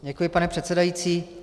Děkuji, pane předsedající.